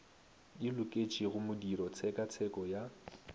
di loketšego modiro tshekatsheko ya